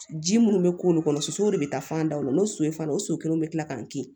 Ji minnu bɛ k'olu kɔnɔ sosow de bɛ taa fan daw la n'o so ye fana o so kelen bɛ kila k'an kin